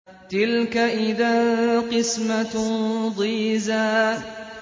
تِلْكَ إِذًا قِسْمَةٌ ضِيزَىٰ